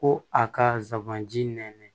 Ko a ka zanji nɛn